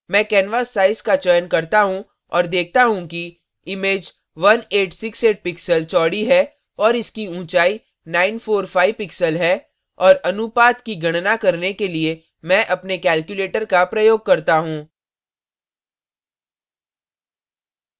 मैं canvas size का चयन करता हूँ और देखती हूँ कि इमेज1868 pixels चौड़ी है और इसकी ऊँचाई 945 pixels है और अनुपात की गणना करने के लिए मैं अपने calculator का प्रयोग करता हूँ